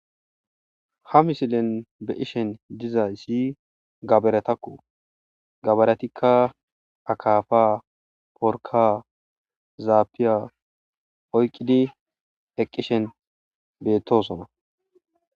ha misilen be'ishin dizay si gaberetakko gabaretikka akafa porka zaapiya oyqqidi eqqishen beettosona